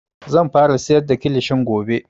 Zan fara siyar da kilishin gobe